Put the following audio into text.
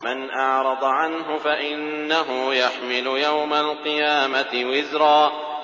مَّنْ أَعْرَضَ عَنْهُ فَإِنَّهُ يَحْمِلُ يَوْمَ الْقِيَامَةِ وِزْرًا